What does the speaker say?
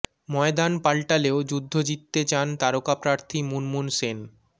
ময়দান পাল্টালেও যুদ্ধ জিততে চান তারকা প্রার্থী মুনমুন সেন